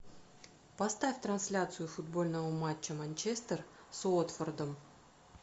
поставь трансляцию футбольного матча манчестер с уотфордом